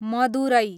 Madurai